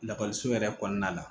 Lakɔliso yɛrɛ kɔnɔna la